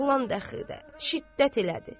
Oğlan daxildə şiddət elədi.